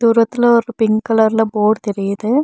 தூரத்துல ஒரு பிங்க் கலர்ல போர்டு தெரியிது.